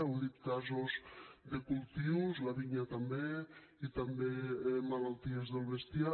heu dit casos de cultius la vinya també i també malalties del bestiar